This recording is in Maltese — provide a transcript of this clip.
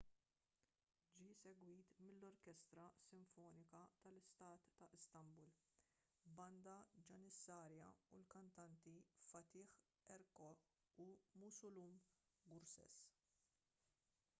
ġie segwit mill-orkestra sinfonika tal-istat ta’ istanbul banda janissarja u l-kantanti fatih erkoç u müslüm gürses